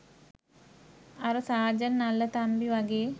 අර සාජන් නල්ලතම්බිවගේ